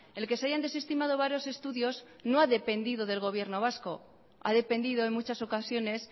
el que se hayan desestimado varios estudios no ha dependido del gobierno vasco ha dependido en muchas ocasiones